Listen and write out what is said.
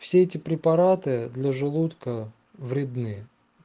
все эти препараты для желудка вредны